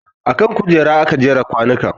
A man kujera aka jera kwanukan